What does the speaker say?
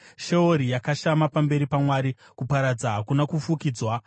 Sheori yakashama pamberi paMwari; kuparadza hakuna kufukidzwa.